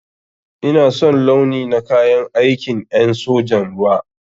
Ina son launi na kayan aikin en sojan ruwa.